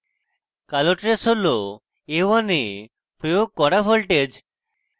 কালো trace হল a1 এ প্রয়োগ করা voltage